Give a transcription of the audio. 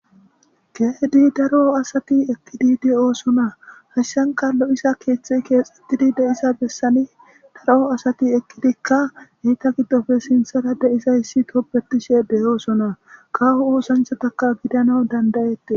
Keehidi Dari asati uttidi de'osona haysanka lo'iza keethey keexetidi de'iza bessan lo'o asati eqidika eeta gidoppe sinthara de'izayti tobetishe de'osona kawo oosanchataka gidanaw danda'etes.